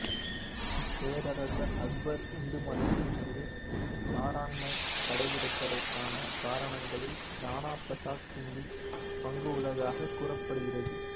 பேரரசர் அக்பர் இந்து மதத்தின் மீது தாராண்மை கடைப்பிடித்ததற்கான காரணங்களில் ராணா பிரசாத் சிங்கின் பங்கும் உள்ளதாகக் கூறப்படுகின்றது